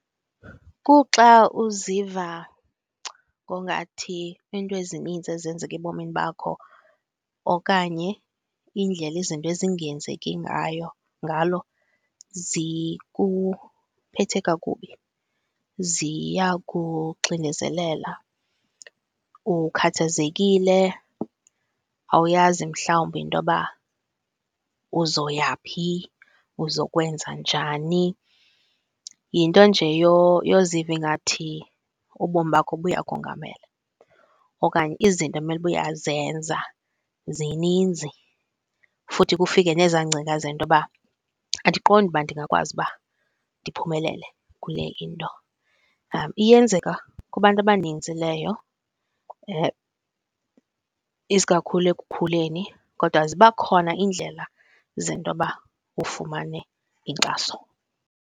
Kuxa uziva ngongathi iinto ezininzi ezenzeka ebomini bakho okanye indlela izinto ezingenzeki ngayo ngalo zikuphethe kakubi, ziyakuxinezelela, ukhathazekile, awuyazi mhlawumbi intoba uzoyaphi, uzokwenza njani. Yinto nje yoziva ingathi ubomi bakho buyakongamela okanye izinto ekumele uba uyazenza zininzi, futhi kufike nezaa ngcinga zentoba andiqondi uba ndingakwazi uba ndiphumelele kule into. Iyenzeka kubantu abaninzi leyo isikakhulu ekukhuleni, kodwa ziba khona iindlela zentoba ufumane inkxaso.